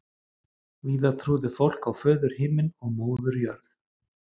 Víða trúði fólk á föður Himinn og móður Jörð.